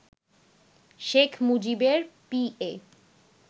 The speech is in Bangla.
শেখ মুজিবের পিএ